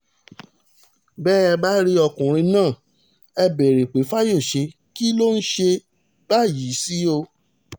bẹ́ ẹ bá rí ọkùnrin náà ẹ béèrè pé fayọṣẹ́ kí ló ń ṣe báyìí sí o